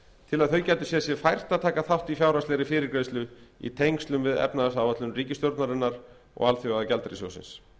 til að þau gætu séð sér fært að taka þátt í fjárhagslegri fyrirgreiðslu í tengslum við efnahagsáætlun ríkisstjórnarinnar og alþjóðagjaldeyrissjóðsins